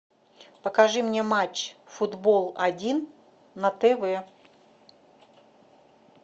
покажи мне матч футбол один на тв